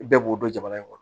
Bɛɛ b'o dɔn jamana in kɔnɔ